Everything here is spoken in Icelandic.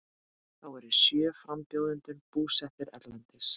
Þá eru sjö frambjóðendur búsettir erlendis